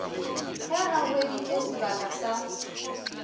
ge a hweditše sebaka sa